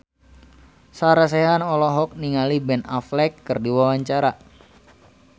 Sarah Sechan olohok ningali Ben Affleck keur diwawancara